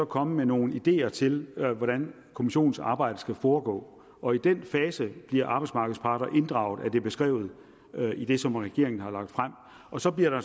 komme med nogle ideer til hvordan kommissionens arbejde skal foregå og i den fase bliver arbejdsmarkedets parter inddraget sådan er det beskrevet i det som regeringen har lagt frem og så bliver